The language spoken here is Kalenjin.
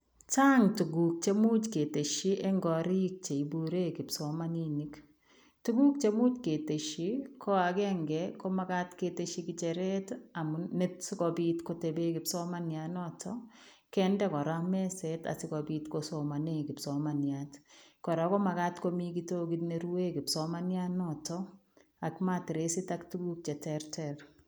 Chaang tuguuk cheimuuch ketesyii en koriik cheibureen kipsomaninik, tuguuk cheimuuch ketesyii ii ko agenge ko ngecheret ii amuun sikobiit kotebeen kipsomaniat notoon kende kora mezeet asikobiit kosomanei kipsomaniat kora ko magaat komii kitogiit ne ruen kipsomaniat notoon ak mattressit ak tuguuk che terter.